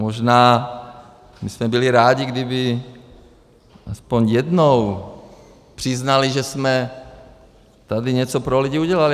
Možná bychom byli rádi, kdyby aspoň jednou přiznali, že jsme tady něco pro lidi udělali.